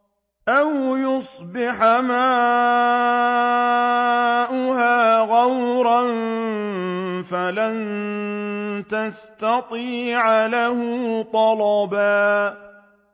أَوْ يُصْبِحَ مَاؤُهَا غَوْرًا فَلَن تَسْتَطِيعَ لَهُ طَلَبًا